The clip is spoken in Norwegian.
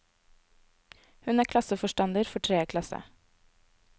Hun er klasseforstander for en tredje klasse.